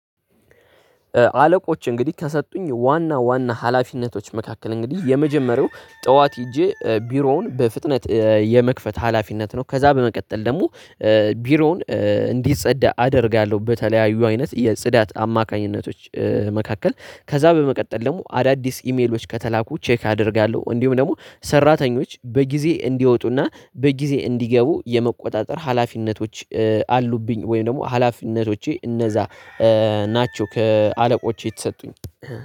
አለቆች እንግዲህ ከሰጡኝ ዋና ዋና ሀላፊነቶች መካከል እንግዲህ የመጀመሪያው ጠዋት ሄጄ ቢሮውን በፍጥነት የመክፈት ሀላፊነት ነው። ከዛ በመቀጠል ደግሞ ቢሮውን እንዲጸዳ አደርጋለሁ። በተለያዩ አይነት የጽዳት አማካኝነቶች መካከል ከዛ በመቀጠል ደግሞ አዳዲስ ኢሜሎች ከተላኩ ቼክ አደርጋለሁ። እንዲሁም ደግሞ ሰራተኞች በጊዜ እንዲወጡና በጊዜ እንዲገቡ የመቆጣጠር ሀላፊነቶች አሉብኝ። ወይም ደግሞ ሀላፊነቶቼ እነዛ ናቸው። ከአለቆቼ የተሰጡኝ